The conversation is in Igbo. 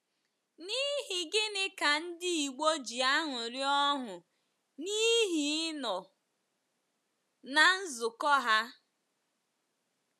N’ihi gịnị ka Ndị Igbo ji aṅụrị ọṅụ n’ihi ịnọ ná nzukọ ha?